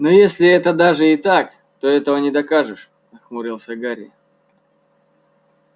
но если это даже и так то этого не докажешь нахмурился гарри